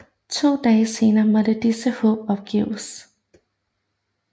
To dage senere måtte disse håb opgives